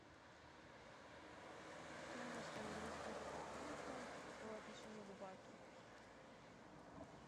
стоимость английских фунтов по отношению к бату